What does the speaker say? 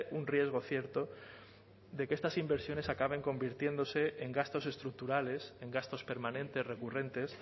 un riesgo cierto de que estas inversiones acaben convirtiéndose en gastos estructurales en gastos permanentes recurrentes